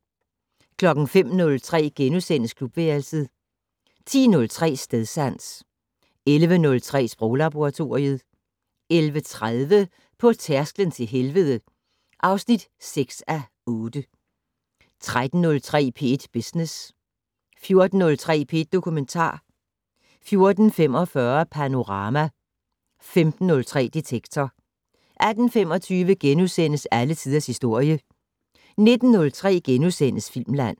05:03: Klubværelset * 10:03: Stedsans 11:03: Sproglaboratoriet 11:30: På tærsklen til helvede (6:8) 13:03: P1 Business 14:03: P1 Dokumentar 14:45: Panorama 15:03: Detektor 18:25: Alle tiders historie * 19:03: Filmland *